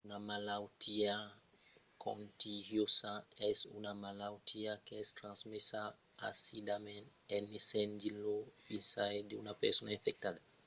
una malautiá contagiosa es una malautiá qu’es transmesa aisidament en essent dins lo vesinatge d’una persona infectada